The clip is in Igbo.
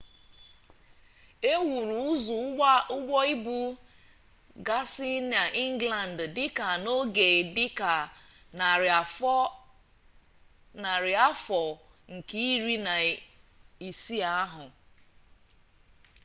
e wuru ụzọ ụgbọ ibu gasị n'ingland dị ka n'oge dị ka narị afọ nke iri na isii ahụ